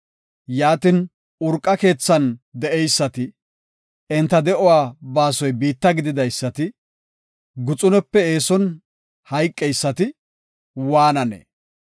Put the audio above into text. Yaatin, urqa keethan de7eysati, enta de7uwa baasoy biitta gididaysati, guxunepe eeson hayqeysati waananee?